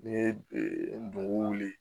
N'i ye ndo wuli